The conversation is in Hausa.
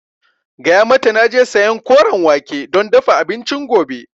Gaya mata naje sayan Koren wake don dafa abincin gobe